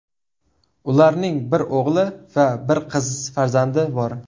Ularning bir o‘g‘il va bir qiz farzandi bor.